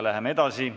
Läheme edasi.